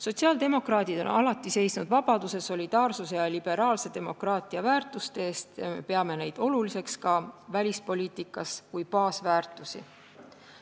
Sotsiaaldemokraadid on alati seisnud vabaduse, solidaarsuse ja liberaalse demokraatia väärtuste eest ning me peame neid ka välispoliitikas oluliseks kui baasväärtusi.